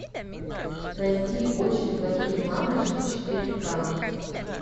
найти очень плохие мамочки четыре ка